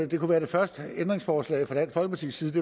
det kunne være det første ændringsforslag fra dansk folkepartis side